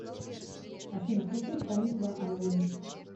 афина включи исполнителя амвин